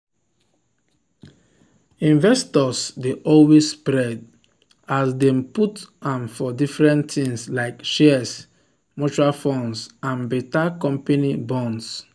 investors dey always spread as dem put am for different things like shares mutual funds and better company bonds.